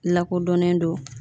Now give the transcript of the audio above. Lakodɔnnen do